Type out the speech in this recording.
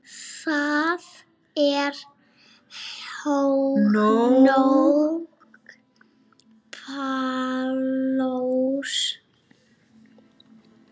Það er nóg pláss.